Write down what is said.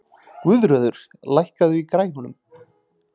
Guðröður, lækkaðu í græjunum.